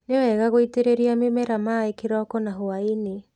Nĩ wega gũitĩrĩria mĩmera maaĩ kĩroko na hwa-inĩ.